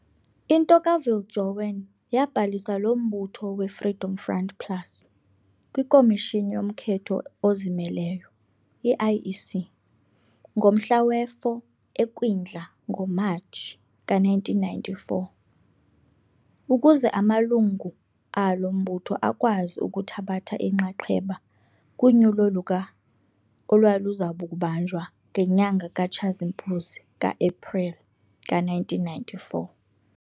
Into kaViljoen yaabhalisa lo mbutho we-Freedom Front Plus kwikomishini yokhetho ezimeleyo, I-IEC, ngomhla wesi-4 eKwindla, NgoMatshi, ka1994, ukuze amalungu alo mbutho akwazi ukuthabatha inxaxheba kunyulo luka olwaluzakubanjwa ngenyanga kaTshazimpuzi, kaApreli, ka1994.